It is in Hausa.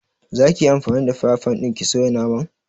Za ki yi anfani da fire fan ɗin ki soya naman?